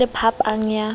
ho na le phapang ya